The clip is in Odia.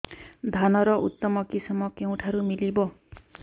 ଧାନର ଉତ୍ତମ କିଶମ କେଉଁଠାରୁ ମିଳିବ